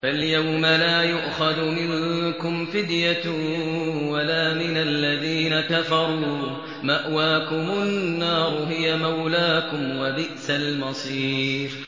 فَالْيَوْمَ لَا يُؤْخَذُ مِنكُمْ فِدْيَةٌ وَلَا مِنَ الَّذِينَ كَفَرُوا ۚ مَأْوَاكُمُ النَّارُ ۖ هِيَ مَوْلَاكُمْ ۖ وَبِئْسَ الْمَصِيرُ